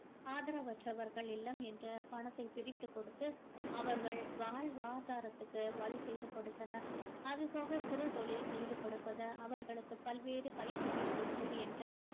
ஆதரவற்றவர்கள் இல்லம் என்று பணத்தை பிரித்துக் கொடுத்து அவர்கள் வாழ்வாதாரத்திற்கு வழி செய்து கொடுத்தனர் அது போக சிறு தொழில் செய்து கொடுப்பது அவர்களுக்கு பல்வேறு பயிற்சிகள் கொடுப்பது என்று